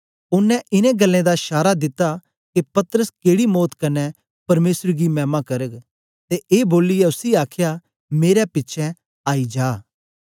ओनें इनें गल्लें दा शारा दिता के पतरस केड़ी मौत कन्ने परमेसर गी मैमा करग ते ए बोलियै उसी आखया मेरे पिछें आई जा